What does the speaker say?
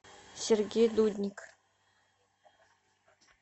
сергей дудник